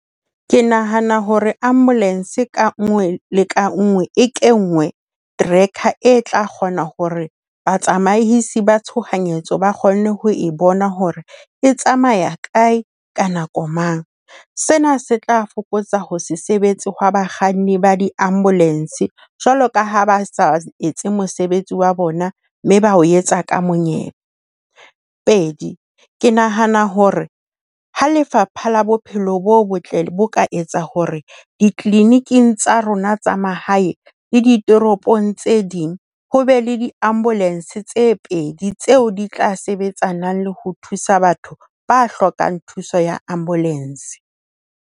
Ke nahana hore ambulance ka nngwe le ka nngwe e kenngwe tracker e tla kgona hore batsamaisi ba tshohanyetso ba kgone ho e bona hore e tsamaya kae, ka nako mang. Sena se tla fokotsa ho se sebetse hwa bakganni ba di-ambulance jwalo ka ha ba sa etse mosebetsi wa bona mme ba o etsa ka monyebe. Pedi, ke nahana hore ha Lefapha la Bophelo bo Botle bo ka etsa hore di-clinic-ing tsa rona tsa mahae le ditoropong tse ding, ho be le di-ambulance tse pedi tseo di tla sebetsanang le ho thusa batho ba hlokang thuso ya ambulance.